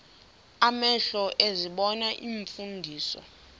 amehlo ezibona iimfundiso